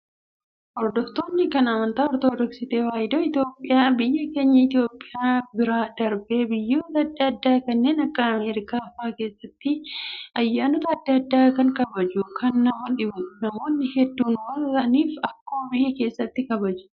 Hordoftoonni kan amantaa ortodoksii tawaahidoo Itoophiyaa biyya keenya Itoophiyaa bira darbee biyyoota adda addaa kanneen akka Ameerikaa fa'aa keessatti ayyaanota adda addaa ni kabajatu. Kan nama dhibu namoonni hedduu waan ta'aniif akkuma biyya keessaatti kabaju.